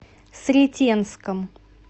сретенском